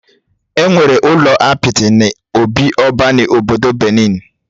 Enwere ụlọ apịtị n'obị oba na obodo Benin